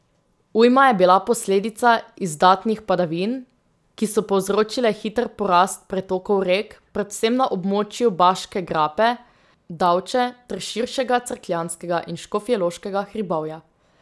Ujma je bila posledica izdatnih padavin, ki so povzročile hiter porast pretokov rek, predvsem na območju Baške grape, Davče ter širšega Cerkljanskega in Škofjeloškega hribovja.